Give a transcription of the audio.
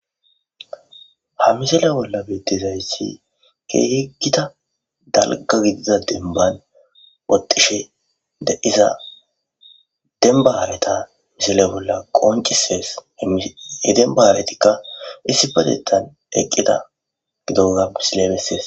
Ha misale bolla beetizayssi keehigida dalga gidiza denban oqishe de'iza denbaaareta misele bolla qoncisees heden baaretikka issi padetan eqqida gidogapsilebessees.